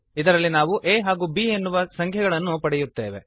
ಇದರಲ್ಲಿ ನಾವು a ಹಾಗೂ b ಎನ್ನುವ ಸಂಖ್ಯೆಗಳನ್ನು ಪಡೆಯುತ್ತೇವೆ